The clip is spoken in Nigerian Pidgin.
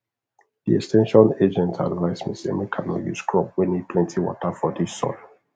de ex ten sion agent advice me say make i nor use crop wey need plenty water for dis soil